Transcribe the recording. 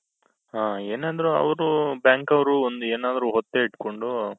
ಅ ಏನoದ್ರು ಅವರು bank ಅವರು ಒಂದ್ ಏನಾದ್ರು ಒತ್ತೆ ಇಟ್ಕೊಂಡು.